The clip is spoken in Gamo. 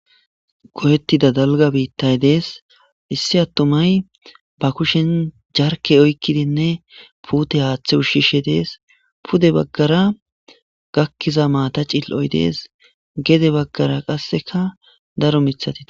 goyettida dalga biittay dees issi attomay ba kushen jarke oykkidinne puute haaththe ushshishe dees pude baggara gakkiza maata cill7oy dees gede baggara qasseka daro mithatii